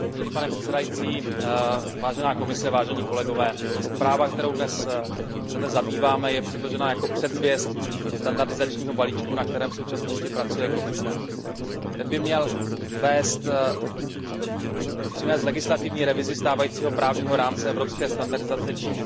Zpráva, kterou se dnes zabýváme, je předložena jako předzvěst standardizačního balíčku, na kterém v současnosti pracuje Komise. Ten by měl přinést legislativní revizi stávajícího právního rámce evropské standardizace, čímž vymezíme vývoj standardizace na desetiletí dopředu.